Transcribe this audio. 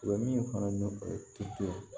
U bɛ min fana o ye tito ye